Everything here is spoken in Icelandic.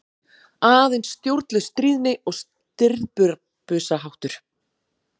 Aðeins stjórnlaus stríðni og stirðbusaháttur.